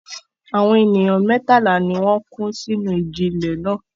Àwọn ènìyàn mẹ́tàlá ni ó kú sínú ìjì-ilẹ̀ náà.